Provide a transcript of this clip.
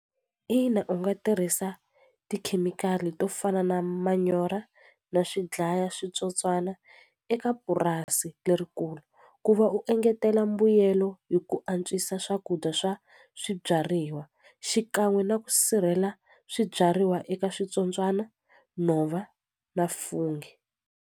Ina u nga tirhisa tikhemikhali to fana na manyora na swidlaya switsotswana eka purasi lerikulu ku va u engetela mbuyelo hi ku antswisa swakudya swa swibyariwa xikan'we na ku sirhela swibyariwa eka switsotswana nhova na fungi.